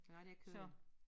Nej det kød